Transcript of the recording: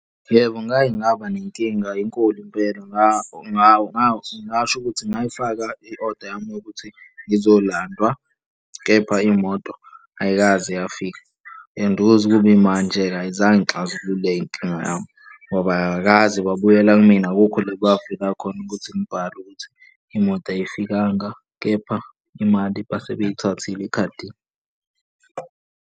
Yebo, ngake ngaba nenkinga enkolo impela ngingasho ukuthi ngayifaka i-oda yami yokuthi ngizolandwa, kepha imoto ayikaze yafika. And kuze kube imanje-ke ayizange ixazululeke inkinga yami ngoba akakaze babuyela kumina. Akukho la kwafika khona ukuthi ngibhale ukuthi imoto ayifikanga, kepha imali base beyithathile ekhadini.